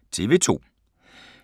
TV 2